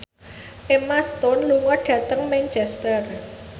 Emma Stone lunga dhateng Manchester